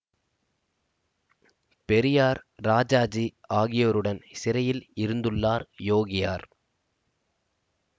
பெரியார் ராஜாஜி ஆகியோருடன் சிறையில் இருந்துள்ளார் யோகியார்